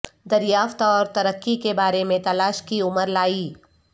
دریافت اور ترقی کے بارے میں تلاش کی عمر لائی